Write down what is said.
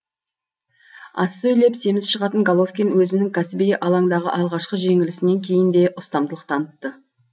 аз сөйлеп семіз шығатын головкин өзінің кәсіби алаңдағы алғашқы жеңілісінен кейін де ұстамдылық танытты